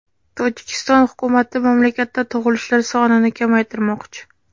Tojikiston hukumati mamlakatda tug‘ilishlar sonini kamaytirmoqchi.